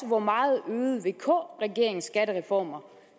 hvor meget vk regeringens skattereformer